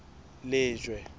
lejwe